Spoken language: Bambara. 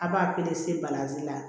A b'a balanzan